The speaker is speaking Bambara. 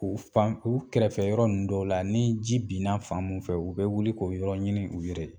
U fan u kɛrɛfɛ yɔrɔ ninnu dɔw la ni ji bin na fan mun fɛ u bɛ wuli k'o yɔrɔ ɲini u yɛrɛ ye.